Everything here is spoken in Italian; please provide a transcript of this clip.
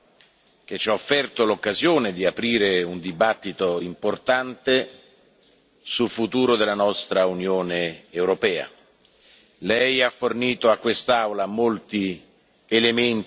per il suo intervento, che ci ha offerto l'occasione di avviare una discussione importante sul futuro della nostra Unione europea.